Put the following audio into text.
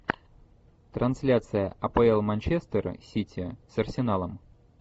трансляция апл манчестера сити с арсеналом